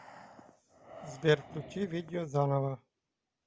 сбер включи видео заново